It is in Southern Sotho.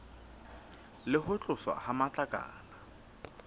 le ho tloswa ha matlakala